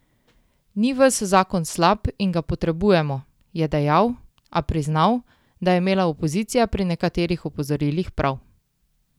Ni ves zakon slab in ga potrebujemo, je dejal, a priznal, da je imela opozicija pri nekaterih opozorilih prav.